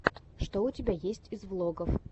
что у тебя есть из влогов